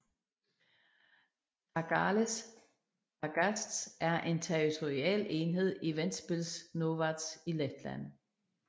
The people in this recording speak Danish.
Tārgales pagasts er en territorial enhed i Ventspils novads i Letland